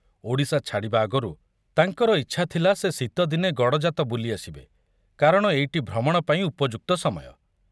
ଓଡ଼ିଶା ଛାଡ଼ିବା ଆଗରୁ ତାଙ୍କର ଇଚ୍ଛା ଥିଲା ସେ ଶୀତଦିନେ ଗଡ଼ଜାତ ବୁଲି ଆସିବେ କାରଣ ଏଇଟି ଭ୍ରମଣ ପାଇଁ ଉପଯୁକ୍ତ ସମୟ।